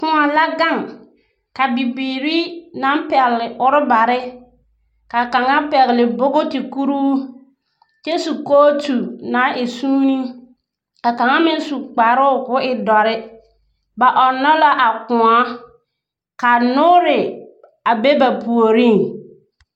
K94 la ga` ka bibiiri na` p4gle orbare, k aka`a p1gle bogti kuruu ky1 su kootu na` e suunee. Ka ka`az me` su kparoo koo e d4re. Ba 4nn4 la a k94, ka noore a be ba puor.